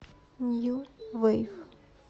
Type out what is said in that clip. нью вейв